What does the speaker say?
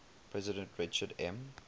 president richard m